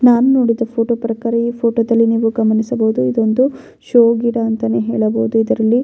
ನಾನು ನೋಡಿದ ಫೋಟೋ ಪ್ರಕಾರ ಈ ಫೋಟೋದಲ್ಲಿ ನೀವು ಗಮನಿಸಬಹುದು ಇದೊಂದು ಶೋ ಗಿಡ ಅಂತಾನೆ ಹೇಳಬಹುದು ಇದರಲ್ಲಿ --